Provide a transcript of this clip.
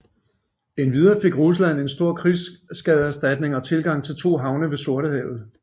Endvidere fik Rusland en stor krigsskadeerstatning og tilgang til to havne ved Sortehavet